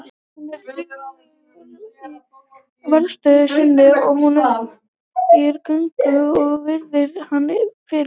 Hann er tignarlegur í varðstöðu sinni og hún hægir gönguna og virðir hann fyrir sér.